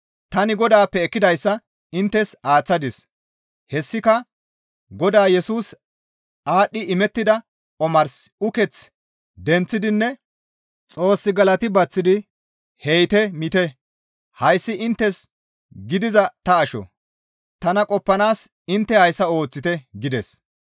Tani Godaappe ekkidayssa inttes aaththadis; hessika Godaa Yesusi aadhdhi imettida omars uketh denththidinne Xoos galati baththidi, «He7ite! Miite! Hayssi inttes gidiza ta asho; tana qoppanaas intte hayssa ooththite» gides.